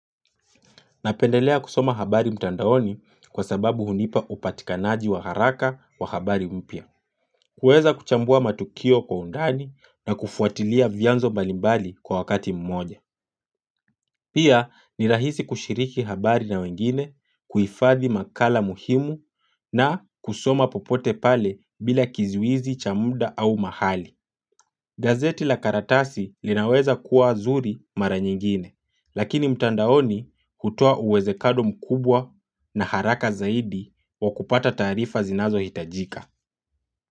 Napendelea kusoma habari mtandaoni kwa sababu hunipa upatikanaji wa haraka wa habari mpya. Kuweza kuchambua matukio kwa undani na kufuatilia vyanzo mbalimbali kwa wakati mmoja. Pia ni rahisi kushiriki habari na wengine, kuhifadhi makala muhimu na kusoma popote pale bila kizuizi cha muda au mahali. Gazeti la karatasi linaweza kuwa zuri mara nyingine. Lakini mtandaoni kutoa uwezekano mkubwa na haraka zaidi wa kupata tarifa zinazohitajika.